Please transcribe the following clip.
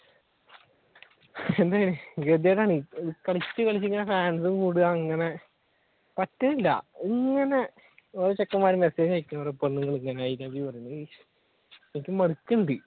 എന്തെ ഗതികേട് ആണ് കളിച്ചുകളിച്ച് ഇങ്ങനെ fans കൂടുക അങ്ങനെ പറ്റണില്ല ഇങ്ങനെ ഓരോ ചെക്കന്മാർ message അയക്കുന്നതും ഓരോ പെണ്ണുങ്ങൾ iloveyou പറയുന്നത് എനിക്ക് മടുക്കുന്നുണ്ട്